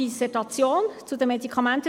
Kommissionssprecherin der GSoK.